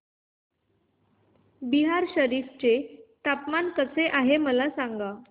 बिहार शरीफ चे हवामान कसे आहे मला सांगा